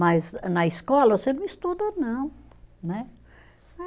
Mas na escola você não estuda não, né?